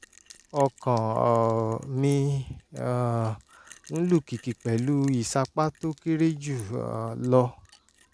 ọkàn um mi um ń lù kìkì pẹ̀lú ìsapá tó kéré jù um lọ